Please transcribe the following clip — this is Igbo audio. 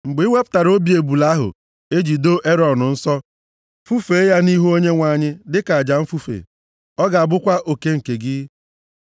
Mgbe i wepụtara obi ebule ahụ e ji doo Erọn nsọ, fufee ya nʼihu Onyenwe anyị dịka aja mfufe. Ọ ga-abụkwa oke nke gị.